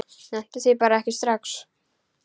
Nennti því bara ekki strax.